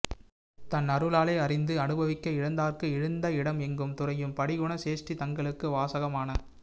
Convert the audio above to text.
தன் அருளாலே அறிந்து அனுபவிக்க இழிந்தார்க்கு இழிந்த இடம் எங்கும் துறையும் படி குண சேஷ்டிதங்களுக்கு வாசகமான